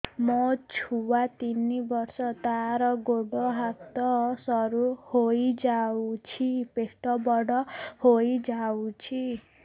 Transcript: ମୋ ଛୁଆ ତିନି ବର୍ଷ ତାର ଗୋଡ ହାତ ସରୁ ହୋଇଯାଉଛି ପେଟ ବଡ ହୋଇ ଯାଉଛି